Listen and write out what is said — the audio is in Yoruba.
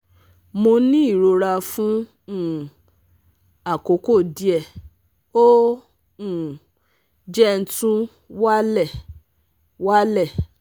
mo ni irora fun um akoko die ,o um je tun wa le wa le